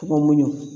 Tɔgɔ mun